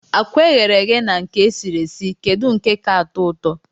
Akwa eghere eghe na nke esiri esi kedu nke ka atọụtọ?